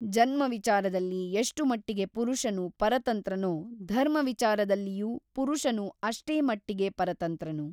ಜನ್ಮ ವಿಚಾರದಲ್ಲಿ ಎಷ್ಟು ಮಟ್ಟಿಗೆ ಪುರುಷನು ಪರತಂತ್ರನೋ ಧರ್ಮವಿಚಾರದಲ್ಲಿಯೂ ಪುರುಷನು ಅಷ್ಟೇ ಮಟ್ಟಿಗೆ ಪರತಂತ್ರನು.